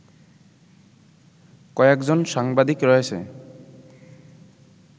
কয়েকজন সাংবাদিক রয়েছে